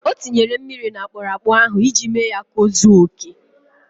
O tinyere mmiri n' akpụrụakpụ ahụ iji mee ya ka o zuo oke.